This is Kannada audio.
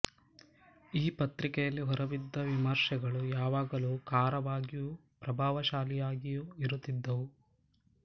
ಆ ಪತ್ರಿಕೆಯಲ್ಲಿ ಹೊರಬಿದ್ದ ವಿಮರ್ಶೆಗಳು ಯಾವಾಗಲೂ ಕಾರವಾಗಿಯೂ ಪ್ರಭಾವಶಾಲಿಯಾಗಿಯೂ ಇರುತ್ತಿದ್ದವು